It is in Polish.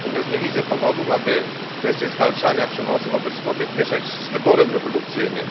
Natomiast nie widzę powodów, aby kwestię zwalczania przemocy wobec kobiet mieszać z wyborem reprodukcyjnym.